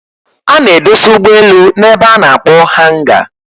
A n'edosa ụgbọ elu na ebe a n'akpọ hanga